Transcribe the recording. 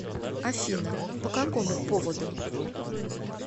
афина по какому поводу